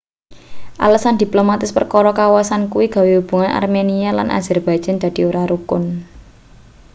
alesan diplomatis perkara kawasan kuwi gawe hubungan armenia lan azerbaijan dadi ora rukun